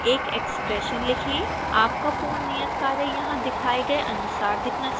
आपका पूर्ण नियतकार्य यहां दिखाए गए अनुसार दिखना चाहिए